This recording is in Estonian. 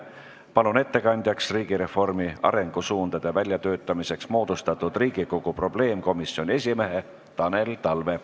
Palun ettekandjaks riigireformi arengusuundade väljatöötamiseks moodustatud Riigikogu probleemkomisjoni esimehe Tanel Talve.